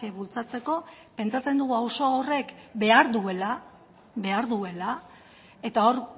bultzatzeko pentsatzen dugu auzo horrek behar duela eta hor